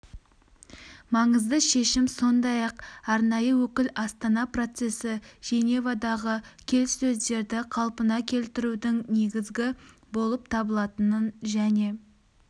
маңызды шешім сондай-ақ арнайы өкіл астана процесі женевадағы келіссөздерді қалпына келтірудің негізі болып табылатынын және